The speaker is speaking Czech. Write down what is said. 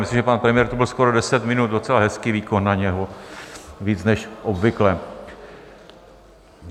Myslím, že pan premiér tu byl skoro 10 minut, docela hezký výkon na něj, víc než obvykle.